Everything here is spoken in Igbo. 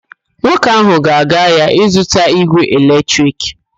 Nwoke ahụ ga-aga ahịa ịzụta ígwè eletrik.